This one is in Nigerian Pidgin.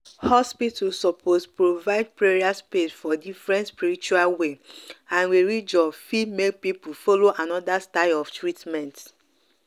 hospital suppose provide prayer space for different spiritual way and religion fit make people follow another style of treatment.